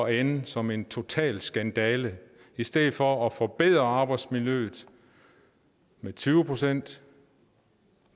ende som en total skandale i stedet for at forbedre arbejdsmiljøet med tyve procent